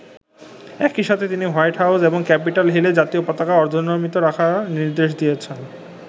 একই সাথে তিনি হোয়াইট হাউজ এবং ক্যাপিটল হিলে জাতীয় পতাকা অর্ধনমিত রাখার নির্দেশ দিয়েছেন।